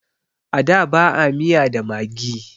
A da ba a miya da maggi